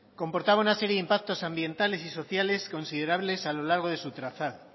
comportaba una serie de impactos ambientales y sociales considerables a lo largo de su trazado